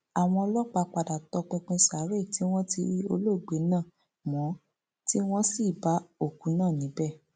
àwọn ọlọpàá padà tọpinpin sáré tí wọn rí olóògbé náà mọ tí wọn sì bá òkú náà níbẹ